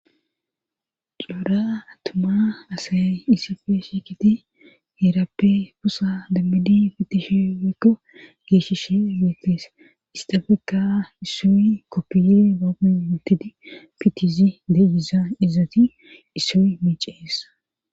Qlora attuma asay issife shekiti heerappe pusa dammidi pitishi wekko geeshishee weetees istafeka issii koppiye bagun wutidi fittizi deyiza izati issi miicees